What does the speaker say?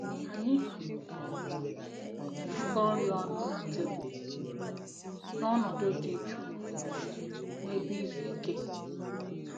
Anyị um na-erikọ nri ọnụ na tebụl n'ọnọdụ dị jụụ na ebe izu ike